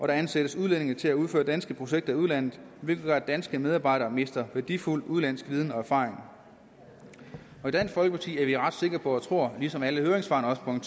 der ansættes udlændinge til at udføre danske projekter i udlandet hvilket gør at danske medarbejdere mister værdifuld udenlandsk viden og erfaring i dansk folkeparti er vi ret sikre på og tror ligesom alle høringssvarene